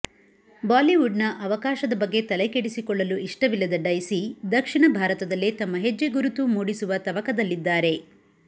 ಬಾಲಿವುಡ್ನ ಅವಕಾಶದ ಬಗ್ಗೆ ತಲೆಕೆಡಿಸಿಕೊಳ್ಳಲು ಇಷ್ಟವಿಲ್ಲದ ಡೈಸಿ ದಕ್ಷಿಣ ಭಾರತದಲ್ಲೇ ತಮ್ಮ ಹೆಜ್ಜೆಗುರುತು ಮೂಡಿಸುವ ತವಕದಲ್ಲಿದ್ದಾರೆ